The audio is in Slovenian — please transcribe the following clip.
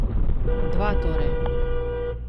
Dva, torej.